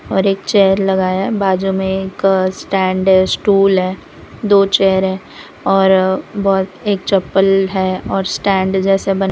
और एक चेयर लगाया बाजू में एक स्टैंड स्टूल है दो चेयर है और बहोत एक चप्पल है और स्टैंड जैसा बन --